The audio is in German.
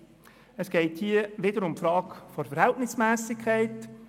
Wiederum geht es hier um die Frage der Verhältnismässigkeit.